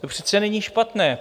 To přece není špatné.